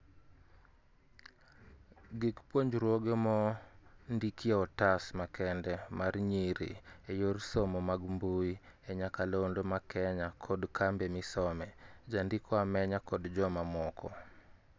Gik puonjruoge mo ndikie otas makende mar nyiri e yor somo mag mbuyi e nyakalondo ma Kenya kod cambe mi some, Jandiko Amenya kod joma moko